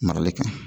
Marali kaɲi